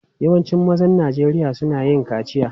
Yawancin mazan Najeriya suna yin kaciya.